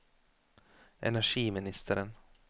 energiministeren